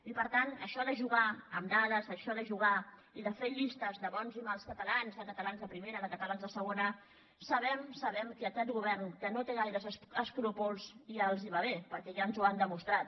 i per tant això de jugar amb dades això de jugar i de fer llistes de bons i mals catalans de catalans de primera de catalans de segona sabem sabem que a aquest govern que no té gaires escrúpols ja els va bé perquè ja ens ho han demostrat